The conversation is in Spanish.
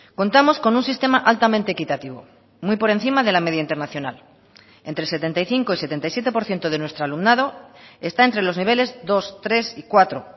contamos con un sistema altamente equitativo muy por encima de la media internacional entre setenta y cinco y setenta y siete por ciento de nuestro alumnado está entre los niveles dos tres y cuatro